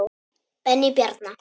Benni Bjarna.